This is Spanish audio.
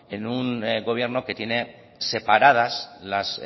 en un gobierno que tiene separadas las